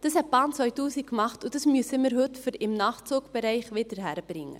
Das hat die Bahn 2000 gemacht, und das müssen wir heute im Nachtzugbereich wieder hinkriegen.